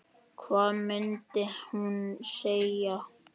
Hvað mundi hún segja?